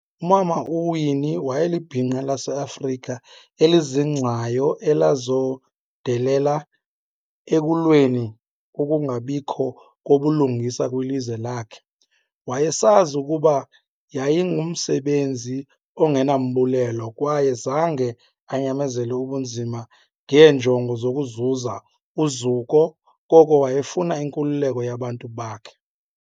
Umama u-Winnie wayelibhinqa lase-Afrika elizingcayo elazondelela ekulweni ukungabikho kobulungisa kwilizwe lakhe. Wayesazi ukuba yayingumsebenzi ongenambulelo kwaye zange anyamezele ubunzima ngeenjongo zokuzuza uzuko, koko wayefuna inkululeko yabantu bakhe.